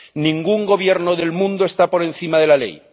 Ningún gobierno del mundo está por encima de la ley.